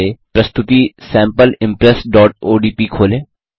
पहले प्रस्तुति sample impressओडीपी खोलें